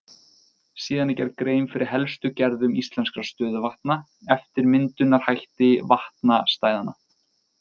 Síðan er gerð grein fyrir helstu gerðum íslenskra stöðuvatna eftir myndunarhætti vatnastæðanna.